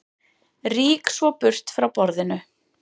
Rýk svo burt frá borðinu.